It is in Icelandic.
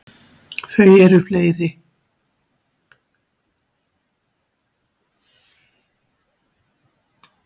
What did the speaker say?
Þau eru fleiri.